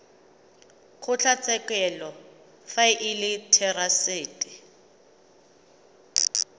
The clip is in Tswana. kgotlatshekelo fa e le therasete